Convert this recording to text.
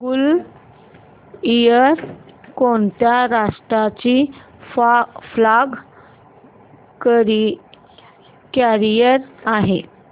gulf Air कोणत्या राष्ट्राची flag carrier आहे